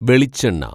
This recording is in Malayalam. വെളിച്ചെണ്ണ